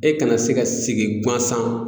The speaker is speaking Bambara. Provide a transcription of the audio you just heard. E kana se ka sigi guansan.